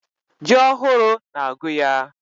Ji ohụrụ na agụ yaa.